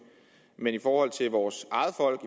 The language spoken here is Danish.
men i forhold til vores eget folk